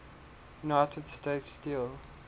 united states steel